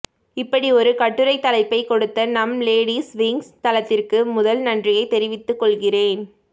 இப்படி ஒரு கட்டுரை தலைப்பை கொடுத்த நம் லேடிஸ் விங்க்ஸ் தளத்திற்கு முதல் நன்றியை தெரிவித்துக் கொள்கிறேன்